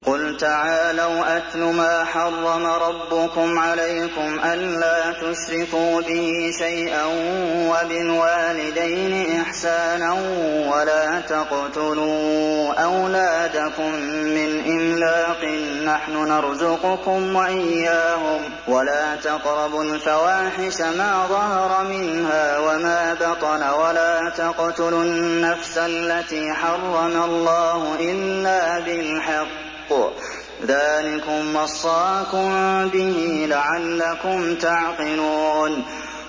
۞ قُلْ تَعَالَوْا أَتْلُ مَا حَرَّمَ رَبُّكُمْ عَلَيْكُمْ ۖ أَلَّا تُشْرِكُوا بِهِ شَيْئًا ۖ وَبِالْوَالِدَيْنِ إِحْسَانًا ۖ وَلَا تَقْتُلُوا أَوْلَادَكُم مِّنْ إِمْلَاقٍ ۖ نَّحْنُ نَرْزُقُكُمْ وَإِيَّاهُمْ ۖ وَلَا تَقْرَبُوا الْفَوَاحِشَ مَا ظَهَرَ مِنْهَا وَمَا بَطَنَ ۖ وَلَا تَقْتُلُوا النَّفْسَ الَّتِي حَرَّمَ اللَّهُ إِلَّا بِالْحَقِّ ۚ ذَٰلِكُمْ وَصَّاكُم بِهِ لَعَلَّكُمْ تَعْقِلُونَ